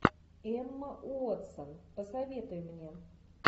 эмма уотсон посоветуй мне